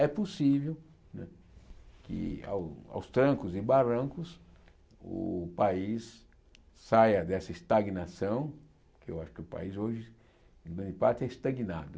É possível né que ao aos trancos e barrancos o país saia dessa estagnação, que eu acho que o país hoje, em grande parte, é estagnado.